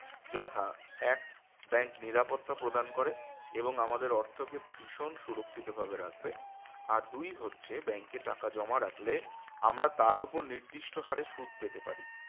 যথা এক bank নিরাপত্তা প্রদান করে এবং আমাদের অর্থকে ভীষণ সুরক্ষিতভাবে রাখবে আর দুই হচ্ছে bank এ টাকা জমা রাখলে আমরা তার উপরে নির্দিষ্ট হারে সুদ পেতে পারি